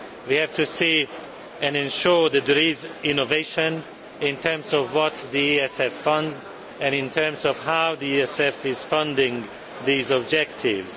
We have to ensure that there is innovation in terms of what the ESF funds, and in terms of how the ESF is funding these objectives.